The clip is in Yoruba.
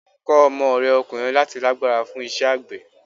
Kọ́ ọmọ rẹ ọkùnrin láti lágbára fún iṣẹ́ àgbẹ̀.